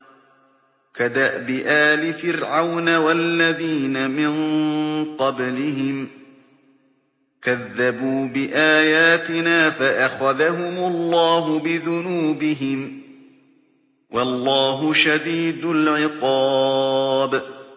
كَدَأْبِ آلِ فِرْعَوْنَ وَالَّذِينَ مِن قَبْلِهِمْ ۚ كَذَّبُوا بِآيَاتِنَا فَأَخَذَهُمُ اللَّهُ بِذُنُوبِهِمْ ۗ وَاللَّهُ شَدِيدُ الْعِقَابِ